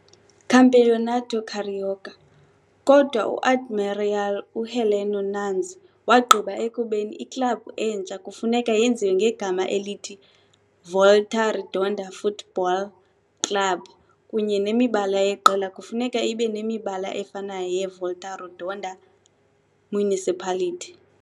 Campeonato Carioca, kodwa u-Admiral uHeleno Nunes wagqiba ekubeni iklabhu entsha kufuneka yenziwe ngegama elithi Volta Redonda Futebol Clube kunye nemibala yeqela kufuneka ibe nemibala efanayo yeVolta Redonda Municipality.